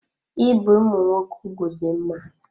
Ibe ụmụ nwoke ụgwụ dị mma.